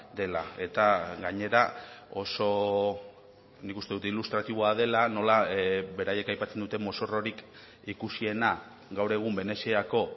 dela eta gainera oso nik uste dut ilustratiboa dela nola beraiek aipatzen duten mozorrorik ikusiena gaur egun veneziako